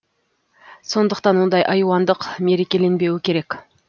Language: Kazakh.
сондықтан ондай айуандық мерекеленбеуі керек